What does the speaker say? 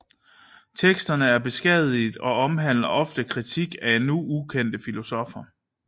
Teksterne er beskadigede og omhandler ofte kritik af nu ukendte filosoffer